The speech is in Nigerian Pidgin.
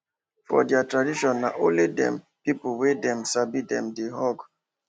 for their traditionna only them people wey dem sabi wella dem dey hug